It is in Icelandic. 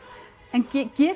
en